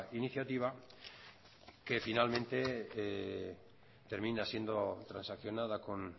iniciativa que finalmente termina siendo transaccionada con